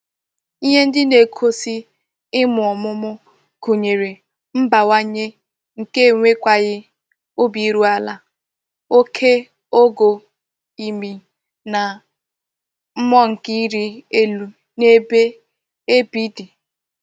Ihe ndi na-egosi imu omumu gunyere mbawanye nke enwekwaghi obi iru ala, oke ogo imi na mmuo nke iri elu n'ebe ebi di.